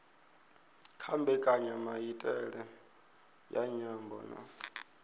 kha mbekanyamaitele ya nyambo na